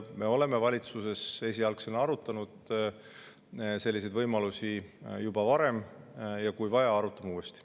Me oleme valitsuses esialgu arutanud selliseid võimalusi juba varem ja kui vaja, arutame uuesti.